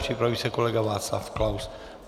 Připraví se kolega Václav Klaus.